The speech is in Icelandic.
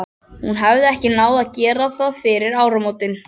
Hún hafði ekki náð að gera það fyrir áramótin.